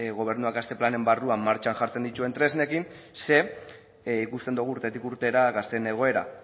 gobernuak gazte planen barruan martxan jartzen dituen tresnekin ze ikusten dugu urtetik urtera gazteen egoera